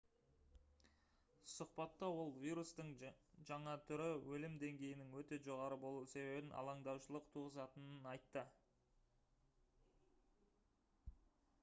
сұхбатта ол вирустың жаңа түрі өлім деңгейінің өте жоғары болуы себебінен алаңдаушылық туғызатынын айтты